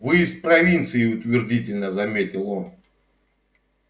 вы из провинции утвердительно заметил он